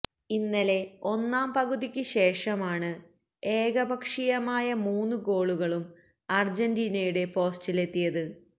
ഇന്നലെ ഒന്നാം പകുതിയ്ക്ക് ശേഷമാണ് ഏകപക്ഷീയമായ മൂന്ന് ഗോളുകളും അര്ജ്ജീനയുടെ പോസ്റ്റിലെത്തിയത്